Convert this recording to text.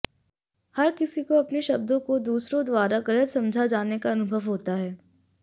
हर किसी को अपने शब्दों को दूसरों द्वारा गलत समझा जाने का अनुभव होता है